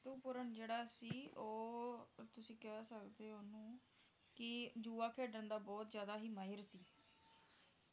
ਰਿਤੁਪਰਣ ਜਿਹੜਾ ਤੁਸੀਂ ਉਹ ਤੁਸੀਂ ਕਹਿ ਸਕਦੇ ਹੋ ਓਹਨੂੰ ਕਿ ਜੂਆ ਖੇਡਣ ਦਾ ਬਹੁਤ ਜਿਆਦਾ ਹੀ ਮਾਹਿਰ ਸੀ